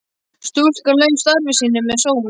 Stúlkan lauk starfi sínu með sóma.